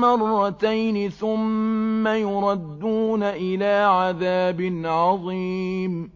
مَّرَّتَيْنِ ثُمَّ يُرَدُّونَ إِلَىٰ عَذَابٍ عَظِيمٍ